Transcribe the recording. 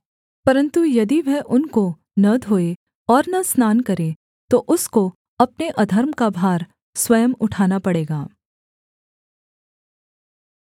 परन्तु यदि वह उनको न धोए और न स्नान करे तो उसको अपने अधर्म का भार स्वयं उठाना पड़ेगा